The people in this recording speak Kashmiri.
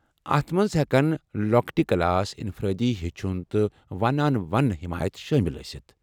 اتھ منٛز ہٮ۪کن لۄکٕٹہِ کلاس، انفرٲدی ہیٚچھُن، تہٕ ون آن ون حمایتھ شٲمِل ٲسِتھ ۔